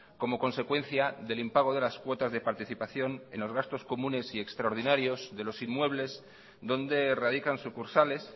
como consecuencia del impago de las cuotas de participación en los gastos comunes y extraordinarios de los inmuebles donde radican sucursales